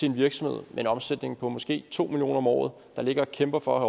en virksomhed med en omsætning på måske to million kroner om året der ligger og kæmper for at